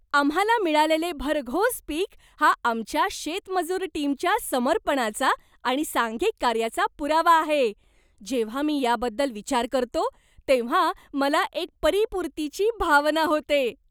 आम्हाला मिळालेले भरघोस पीक हा आमच्या शेतमजूर टीमच्या समर्पणाचा आणि सांघिक कार्याचा पुरावा आहे. जेव्हा मी याबद्दल विचार करतो तेव्हा मला एक परीपुर्तीची भावना होते.